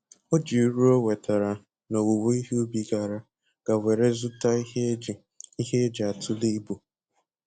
O ji uru o nwetara n'owuwo ihe ubi gara ga were zụta ihe eji ihe eji atule ibu